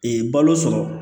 balo sɔrɔ